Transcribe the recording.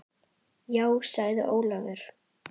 Já sagði Ólafur.